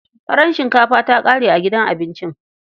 Farar shinkafa ta ƙare a gidan abincin.